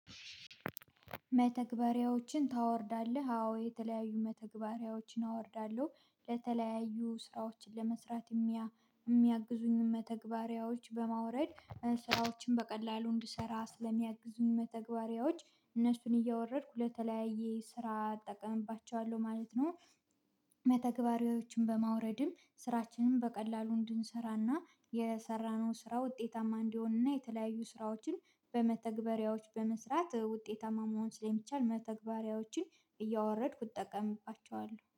መተግበሪያዎችን ታወርዳለህ? አዎ የተለያዩ መተግበሪያዎችን አወርዳለሁ ለተለያዩ ስራዎችን ለመስራት እሚያግዙኝን መተግባሪያዎች በማውረድ ስራዎችን በቀላሉ እንድሰራ ስለሚያግዙኝ መተግበሪያዎች እነሱን እያወረድኩ ለተለያየ ስራ እጠቀምባቸዋለሁ ማለት ነው። መተግበሪያዎችን በማውረድም ስራችንን በቀላሉ እንድንሰራና የሰራነው ስራ ውጤታማ እንዲሆንና የተለያዩ ስራዎችን በመተግበሪያዎች በመስራት ውጤታማ መሆን ስለሚቻል መተግበሪያዎችን እያወረድኩ እጠቀምባቸዋለሁ